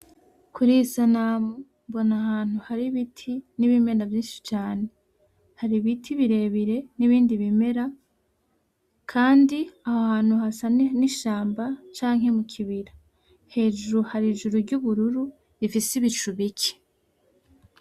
Kuri iyi sanamu mbona ahantu hari ibiti n’ibimera vyishi cane hari ibiti birebire n’ibindi ibimera kandi aho hantu hasa n’ishamba canke mu kibira hejuru hari ijuru ry’ubururu rifise ibicu bike.